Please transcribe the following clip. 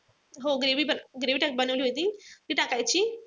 हो gravy-gravy बनवली होती ती टाकायची.